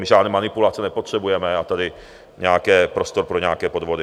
My žádné manipulace nepotřebujeme a tady nějaký prostor pro nějaké podvody.